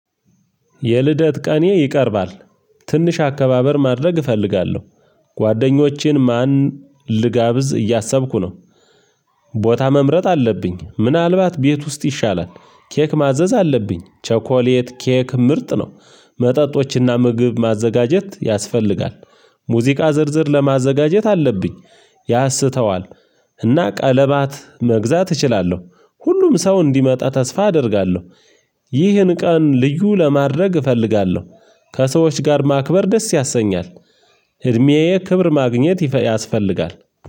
የልደት ቀኔ ይቀርባል ትንሽ አከባበር ማድረግ እፈልጋለሁ። ጓደኞቼን ማን ልጋብዝ እያሰብኩ ነው። ቦታ መምረጥ አለብኝ ምናልባት ቤት ውስጥ ይሻላል። ኬክ ማዘዝ አለብኝ ቸኮሌት ኬክ ምርጥ ነው። መጠጦችና ምግብ ማዘጋጀት ያስፈልጋል። ሙዚቃ ዝርዝር ለማዘጋጀት አለብኝ። ያስተዋል እና ቀለባት መግዛት እችላለሁ። ሁሉም ሰው እንዲመጣ ተስፋ አደርጋለሁ። ይህን ቀን ልዩ ለማድረግ እፈልጋለሁ። ከሰዎች ጋር ማክበር ደስ ያሰኛል። እድሜዬ ክብር ማግኘት ያስፈልጋል።